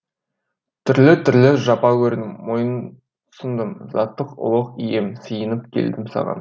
түрлі түрлі жапа көрдім мойынсұндым заты ұлық ием сиынып келдім саған